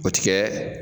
O ti kɛ